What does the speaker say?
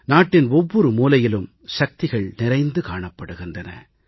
நாட்டின் ஒவ்வொரு மூலையிலும் சக்திகள் நிறைந்து காணப்படுகின்றன